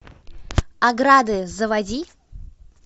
ограды заводи